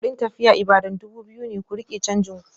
Kudin tafiya Ibadan dubu biyu ne, ku rike canjin ku.